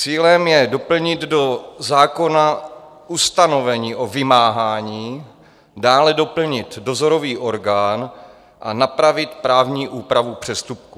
Cílem je doplnit do zákona ustanovení o vymáhání, dále doplnit dozorový orgán a napravit právní úpravu přestupků.